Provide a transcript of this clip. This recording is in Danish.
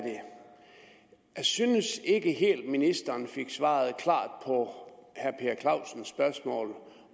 det synes ikke helt ministeren fik svaret klart på herre per clausens spørgsmål